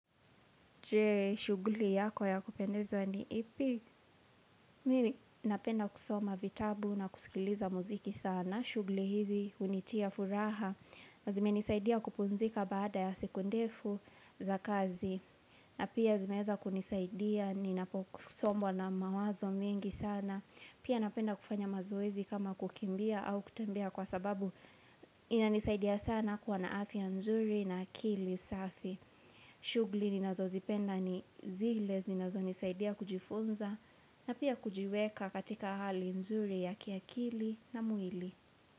Je shugli yako ya kupendezwa ni ipi mii napenda kusoma vitabu na kusikiliza muziki sana. Shugli hizi unitia furaha. Nazime nisaidia kupumzika baada ya seku ndefu za kazi. Na pia zimeza kunisaidia ni napo kusombo na mawazo mingi sana. Pia napenda kufanya mazuezi kama kukimbia au kutambia kwa sababu inanisaidia sana kwa naafi ya nzuri na kili safi. Shugli ninazo zipenda ni zile, ninazo nisaidia kujifunza na pia kujiweka katika hali nzuri ya kiakili na muili.